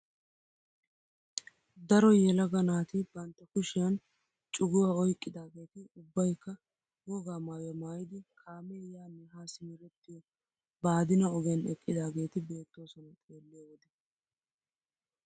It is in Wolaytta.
Daro yelaga naati bantta kushiyaan cuguwaa oyqqidaageti ubbayikka wogaa maayuwaa maayidi kaamee yaanne haa simerettiyoo baadina ogiyaan eqqidaageti beettoosona xeelliyo wode.